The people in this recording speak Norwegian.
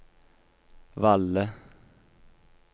Valle